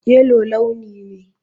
Yellow launi ne.